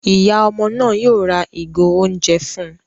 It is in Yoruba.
Ìyá ọmọ náà yóò rá ìgò oúnjẹ fún